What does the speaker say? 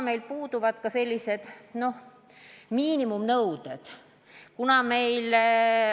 Meil puuduvad selles vallas ka miinimumnõuded.